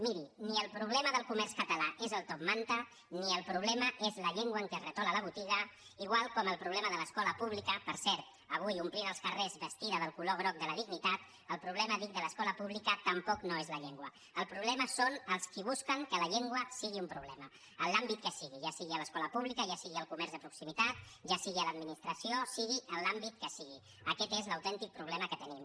miri ni el problema del comerç català és el top man·ta ni el problema és la llengua en què es retola la botiga igual com el problema de l’escola pública per cert avui omplint els carrers vestida del color groc de la dignitat el problema dic de l’escola pública tampoc no és la llengua el problema són els qui bus·quen que la llengua sigui un problema en l’àmbit que sigui ja sigui a l’escola pública ja sigui al comerç de proximitat ja sigui a l’administració sigui en l’àmbit que sigui aquest és l’autèntic problema que tenim